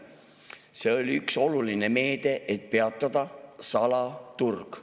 See oli üks oluline meede, et peatada salaturg.